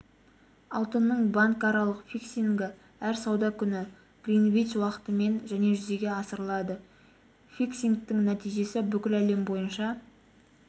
алтынның банкаралық фиксингі әр сауда күні гринвич уақытымен және жүзеге асырылады фиксингтің нәтижесі бүкіл әлем бойынша